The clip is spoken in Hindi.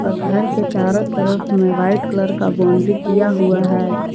घर के चारों तरफ में वाइट कलर का बाउंड्री किया हुआ है।